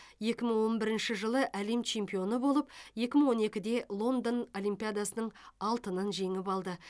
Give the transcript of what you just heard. екі мың он бірінші жылы әлем чемпионы болып екі мың он екіде лондон олимпиадасының алтынын жеңіп алды